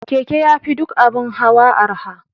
Keke yafi duk abun hawa arha